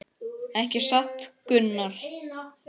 Ekki satt Gunnar?